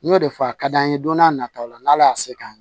N y'o de fɔ a ka d'an ye don n'a nataw la n'ala y'a se k'an